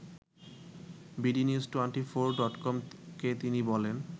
bdnews twenty four ডটকমকে তিনি বলেন